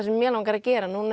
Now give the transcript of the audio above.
sem mig langar að gera núna